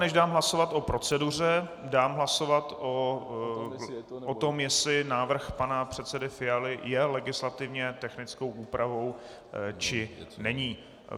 Než dám hlasovat o proceduře, dám hlasovat o tom, jestli návrh pana předsedy Fialy je legislativně technickou úpravou, či není.